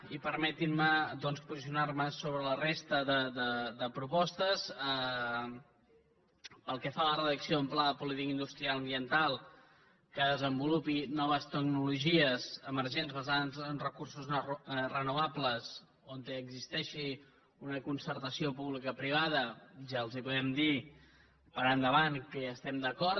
i permetin me doncs posicionar me sobre la resta de propostes pel que fa a la redacció d’un pla de política industrial mediambiental que desenvolupi noves tecnologies emergents basades en recursos renovables on existeixi una concertació pública privada ja els podem dir per endavant que hi estem d’acord